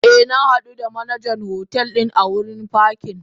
Eh na hadu da Manajan hotel din a wurin pakin.